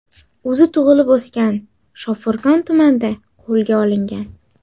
o‘zi tug‘ilib o‘sgan Shofirkon tumanida qo‘lga olingan.